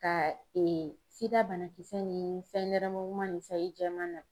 Ka ee sida banakisɛ ni sayi nɛrɛmuguma ni sayi jɛman na